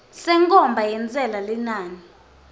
senkhomba yentsela linani